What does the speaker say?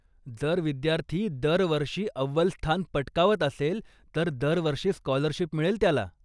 जर विद्यार्थी दरवर्षी अव्वल स्थान पटकावत असेल, तर दरवर्षी स्कॉलरशिप मिळेल त्याला.